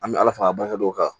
An bɛ ala fa barikaw kan